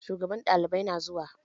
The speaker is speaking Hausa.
Shugaban ɗalibai na zuwa